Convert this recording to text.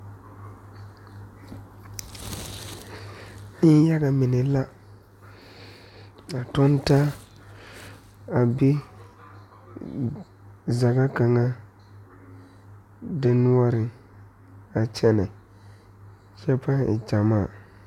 Nenyaga mine la a toge taa a be zage kaŋ poɔ denoɔre a kyɛne kyɛ ba e gyamaa.